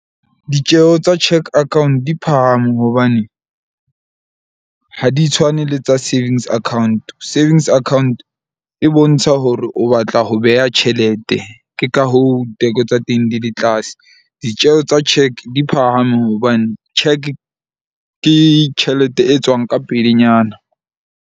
Ditjeho tsa cheque account di phahame hobane ha di tshwane le tsa savings account. Savings account e bontsha hore o batla ho beha tjhelete ke ka hoo teko tsa teng di le tlase. Ditjeho tsa cheque di phahame hobane cheque ke tjhelete e tswang ka pelenyana.